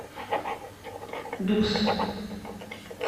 дукс